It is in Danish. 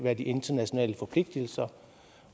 er de internationale forpligtelser